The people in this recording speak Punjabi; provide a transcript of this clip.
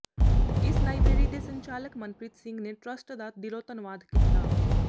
ਇਸ ਲਾਇਬਰੇਰੀ ਦੇ ਸੰਚਾਲਕ ਮਨਪ੍ਰਰੀਤ ਸਿੰਘ ਨੇ ਟਰੱਸਟ ਦਾ ਦਿਲੋਂ ਧੰਨਵਾਦ ਕੀਤਾ